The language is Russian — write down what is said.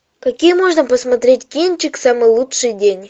какие можно посмотреть кинчик самый лучший день